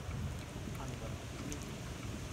анвар дмитрик